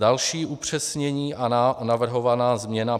Další upřesnění a navrhovaná změna.